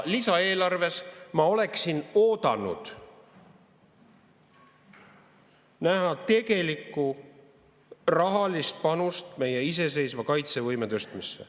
Lisaeelarves ma oleksin oodanud näha tegelikku rahalist panust meie iseseisva kaitsevõime tõstmisse.